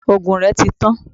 òògùn rẹ tí tan